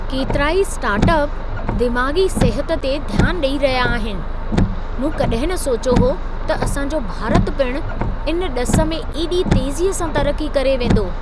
केतिराई startup दिमाग़ी सिहत ते ध्यानु ॾई रहिया आहिनि। मूं कॾहिं न सोचियो हो त असां जो भारत पिणु इन ॾिस में एॾी तेज़ीअ सां तरक्की करे वेंदो!